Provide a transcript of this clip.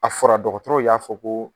A fɔra dɔgɔtɔrɔw y'a fɔ ko